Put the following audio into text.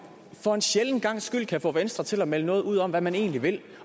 for en sjælden gangs skyld kan få venstre til at melde noget ud om hvad man egentlig vil